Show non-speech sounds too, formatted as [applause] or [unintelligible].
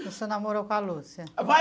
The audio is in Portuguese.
Você namorou com a Lúcia? [unintelligible]